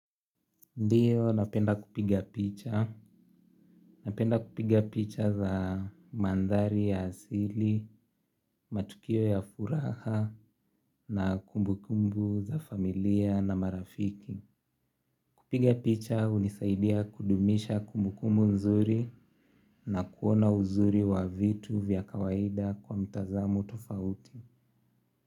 Ndiyo napenda kupiga picha. Napenda kupiga picha za mandhari ya asili, matukio ya furaha na kumbukumbu za familia na marafiki. Kupiga picha hunisaidia kudumisha kumbukumbu nzuri na kuona uzuri wa vitu vya kawaida kwa mtazamo tofauti.